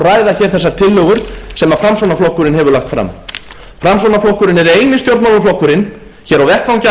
ræða hér þessar tillögur sem framsóknarflokkurinn hefur lagt fram framsóknarflokkurinn er eini stjórnmálaflokkurinn hér á vettvangi